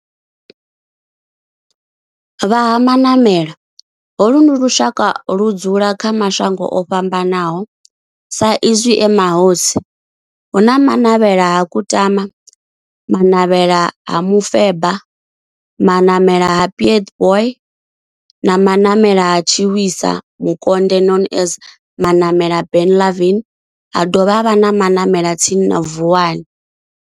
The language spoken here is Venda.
Vha Ha-Manavhela, holu ndi lushaka ludzula kha mashango ofhambanaho sa izwi e mahosi hu na Manavhela ha Kutama, Manavhela ha Mufeba, Manavhela ha Pietboi na Manavhela ha Tshiwisa Mukonde known as Manavhela Benlavin ha dovha havha na Manavhela tsini na Vuwani.